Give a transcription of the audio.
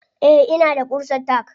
Eh ina da ƙusar tack.